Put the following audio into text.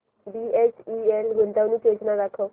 BHEL गुंतवणूक योजना दाखव